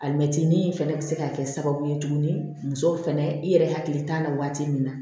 Alimɛti fɛnɛ bɛ se ka kɛ sababu ye tuguni musow fɛnɛ i yɛrɛ hakili t'a la waati min na